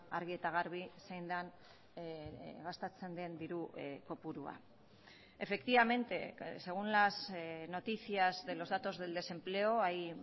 argi eta garbi zein den gastatzen den diru kopurua efectivamente según las noticias de los datos del desempleo hay